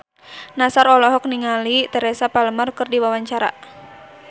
Nassar olohok ningali Teresa Palmer keur diwawancara